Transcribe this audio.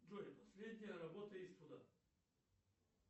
джой последняя работа иствуда